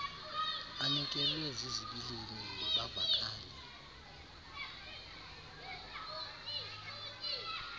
anyukelwe zizibilini bavakale